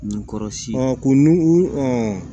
N'u kɔrɔsi ye ko nun